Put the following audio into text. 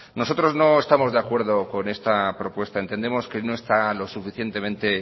nosotros no estamos de acuerdo con esta propuesta entendemos que no está lo suficientemente